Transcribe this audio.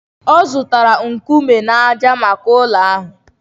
Ọ zụtara nkume na ájá maka ụlọ ahụ